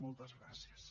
moltes gràcies